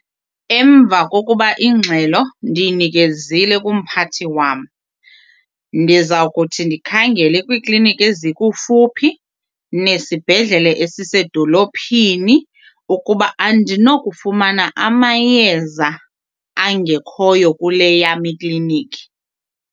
Emva kokuba ingxelo ndiyinikezile kumphathi wam ndiza kuthi ndikhangele kwiikliniki ezikufuphi nesibhedlele esisedolophini ukuba andinokufumana amayeza angekhoyo kule yam iklinikhi.